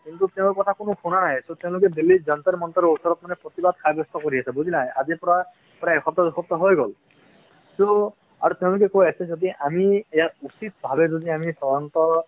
কিন্তু তেওঁৰ কথা কোনোৱে শুনা নাই তো তেওঁলোকে দিল্লীত জন্তৰ মন্তৰ ৰ ওচৰত মানে প্ৰতিবাদ সব্যস্ত কৰি আছে বুজিলা আজিৰ পৰা প্ৰায় এক সপ্তাহ দুই সপ্তাহ হৈ গ'ল তো আৰু তেওলোকে কৈ আছে যে যদি আমি ইয়াত উচিত ভাবে যদি আমি